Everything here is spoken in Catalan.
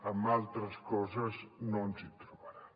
en altres coses no ens trobaran